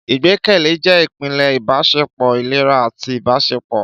Ìgbẹ́kẹ̀lé jẹ́ ìpìlẹ̀ ìbáṣepọ̀ ìlera àti ìbáṣepọ̀.